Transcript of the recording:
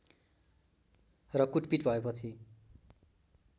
र कुटपीट भएपछि